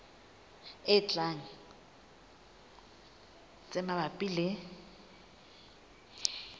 e tlang tse mabapi le